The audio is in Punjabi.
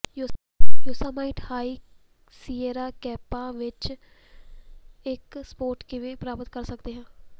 ਯੋਸਾਮਾਈਟ ਹਾਈ ਸਿਏਰਾ ਕੈਂਪਾਂ ਵਿਚ ਇਕ ਸਪੌਟ ਕਿਵੇਂ ਪ੍ਰਾਪਤ ਕਰ ਸਕਦੇ ਹਾਂ